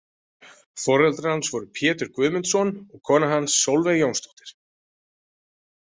Foreldrar hans voru Pétur Guðmundsson og kona hans Solveig Jónsdóttir.